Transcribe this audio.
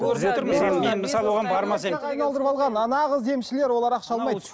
мен мысалы оған бармас едім нағыз емшілер олар ақша алмайды